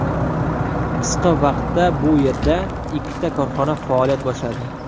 Qisqa vaqtda bu yerda ikkita korxona faoliyat boshladi.